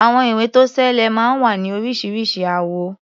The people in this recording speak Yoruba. Àwọn ìwé-tó-ṣeé-lẹ̀ máa ń wá ní oríṣiríṣi àwọ̀.